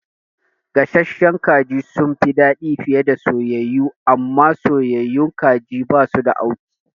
Gasasshen kaji sunfi dadi fiye da soyayyu, amma soyayyun kaji basu da auki